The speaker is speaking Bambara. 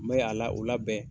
N bɛ a la u la bɛn.